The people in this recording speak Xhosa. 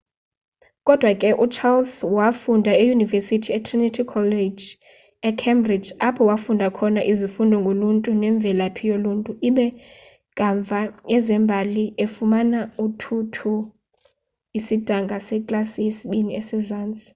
kodwa ke ucharles wafunda eyunivesithi etrinity college ecambridge apho wafunda khona izifundo ngoluntu nemvelaphi yoluntu ibe kamva ezembali efumana 2:2 isidanga seklasi yesibini esezantsi